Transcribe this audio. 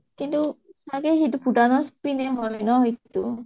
কিন্তু, ছাগে সেইটো ভুতানৰ হয় ন সেইটূ